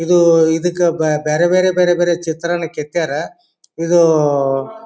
ಇದು ಇದಕ್ಕ ಬ್ಯಾ ಬೇರೆ ಬೇರೆ ಬೇರೆ ಬೇರೆ ಚಿತ್ರನ್ನ ಕೇತ್ಯರ್ ಇದು --